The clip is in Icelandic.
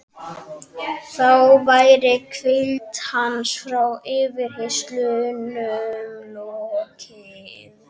Þá væri hvíld hans frá yfirheyrslunum lokið.